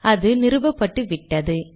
அது நிறுவப்பட்டுவிட்டது